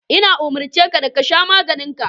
Ina umurce ka da ka sha maganin ka.